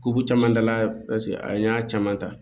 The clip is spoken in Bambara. Kuru caman dala paseke a y'a caman ta